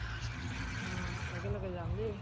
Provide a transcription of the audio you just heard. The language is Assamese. অ একেলগে যাম দেই।